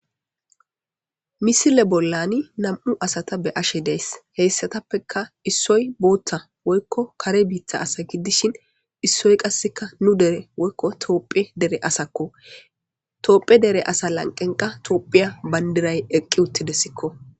misile bollani nam7u asata be ashe dees heessatappeka issoy booththa woykko kare biitha asa giddishin issoy qasseka nu dere woykko tooppiya dere asakko toopheya dere asa lanqenqa toophiya bandiray eqqi uttidessikko